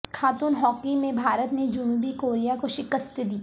خاتون ہاکی میں بھارت نے جنوبی کوریا کو شکست دی